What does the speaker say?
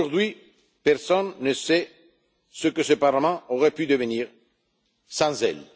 Veil! Aujourd'hui, personne ne sait ce que ce Parlement aurait pu devenir sans